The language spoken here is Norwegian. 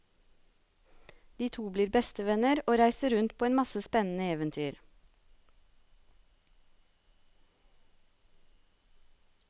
De to blir bestevenner, og reiser rundt på en masse spennende eventyr.